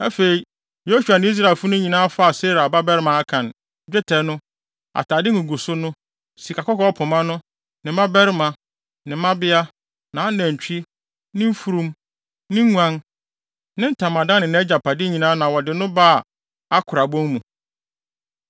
Afei, Yosua ne Israelfo no nyinaa faa Serah babarima Akan, dwetɛ no, atade nguguso no, sikakɔkɔɔ pema no, ne mmabarima, ne mmabea, nʼanantwi, ne mfurum, ne nguan, ne ntamadan ne nʼagyapade nyinaa na wɔde no baa Akora bon mu.